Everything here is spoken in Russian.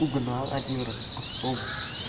угнал один раз автобус